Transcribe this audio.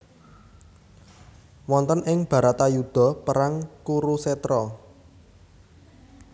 Wonten ing Bharatayuda perang Kurusetra